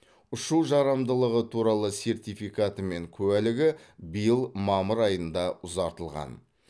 ұшу жарамдылығы туралы сертификаты мен куәлігі биыл мамыр айында ұзартылған